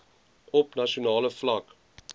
op nasionale vlak